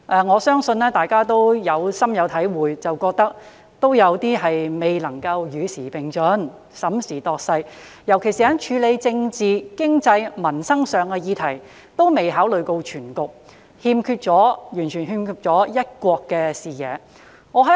我相信大家對此感受甚深，均認為政府在這方面未能審時度勢以與時並進，尤其是在處理政治、經濟及民生議題時，均未有考慮到全局，完全欠缺"一國"視野。